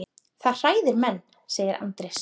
Það hræðir menn, segir Andrés.